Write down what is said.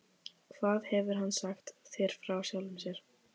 Hvað hefur hann sagt þér frá sjálfum sér?